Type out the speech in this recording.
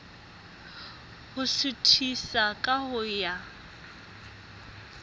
ho suthisa ka ho ya